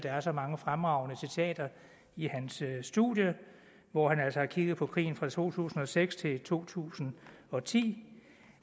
er så mange fremragende citater i hans studie hvor han altså har kigget på krigen fra to tusind og seks til to tusind og ti